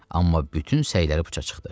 Amma bütün səyləri boşa çıxdı.